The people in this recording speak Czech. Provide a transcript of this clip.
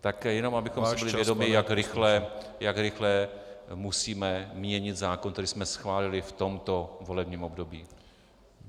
Tak jenom abychom si byli vědomi , jak rychle musíme měnit zákon, který jsme schválili v tomto volebním období.